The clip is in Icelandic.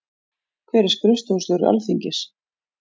Hver er skrifstofustjóri Alþingis?